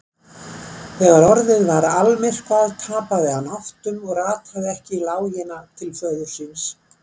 Þegar orðið var almyrkvað tapaði hann áttum og rataði ekki í lágina til föður síns.